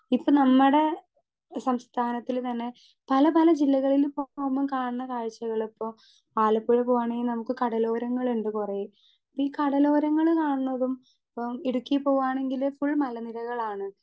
Speaker 2 ഇപ്പൊ നമ്മടെ സംസഥാനത്തില് തന്നെ പലപല ജില്ലകളിലും പോകുമ്പം കാണുന്ന കാഴ്ച്ചകളിപ്പൊ ആലപ്പുഴ പോവാണെങ്കി നമുക്ക് കടലോരങ്ങളിണ്ട് കൊറേ ഈ കടലോരങ്ങള് കാണുന്നതും ഇപ്പം ഇടുക്കി പോവാണെങ്കില് ഫുൾ മല നിരകളാണ്.